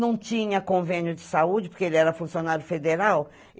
Não tinha convênio de saúde, porque ele era funcionário federal.